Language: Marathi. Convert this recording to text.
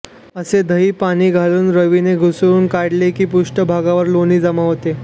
असे दही पाणी घालून रवीने घुसळून काढले की पृष्ठभागावर लोणी जमा होते